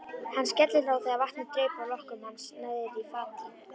Hann skellihló þegar vatnið draup af lokkum hans niðrí fatið.